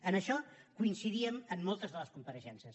en això coincidíem amb moltes de les compareixences